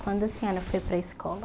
Quando a senhora foi para a escola?